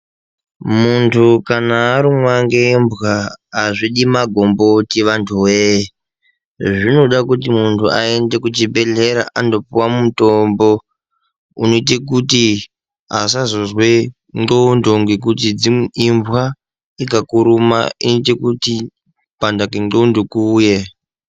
Muntu kana arumwa nembwa hazvidi magomboti antu woye zvinoda kuti muntu aende kuchibhedhlera andopuwa mutombo oite kuti asazozwe nxondo ngekuti imbwa dzikakuruma dzinoita kuti kupanda kwenxondo kuuye.